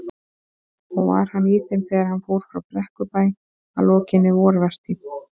Og var hann í þeim þegar hann fór frá Brekkubæ að lokinni vorvertíð.